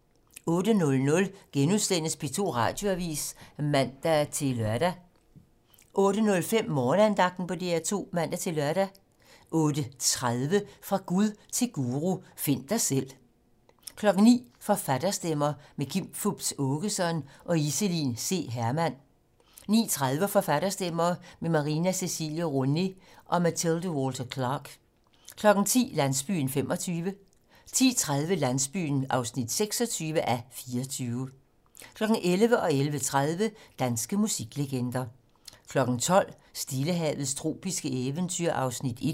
08:00: P2 Radioavis *(man-lør) 08:05: Morgenandagten på DR2 (man-lør) 08:30: Fra Gud til guru: Find dig selv 09:00: Forfatterstemmer - med Kim Fupz Aakeson og Iselin C. Hermann 09:30: Forfatterstemmer - med Marina Cecilie Roné og Mathilde Walter Clark 10:00: Landsbyen (25:44) 10:30: Landsbyen (26:44) 11:00: Danske musiklegender 11:30: Danske musiklegender 12:00: Stillehavets tropiske eventyr (1:6)